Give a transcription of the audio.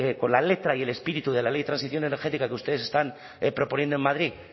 con la letra y el espíritu de la ley de transición energética que ustedes están proponiendo en madrid